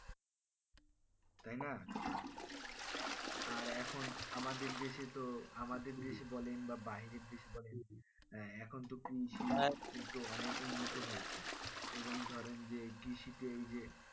তাই না আর এখন আমাদের দেশে তো আমাদের দেশ বলেন বা বাইরের দেশ বলেন এখন তো কৃষি তো অনেকের মতো হইছে এবং ধরেন যে কৃষিতে এই যে